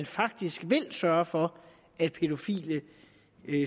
faktisk sørger for at pædofile